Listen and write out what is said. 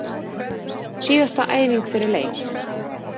Síðasta æfing fyrir leik!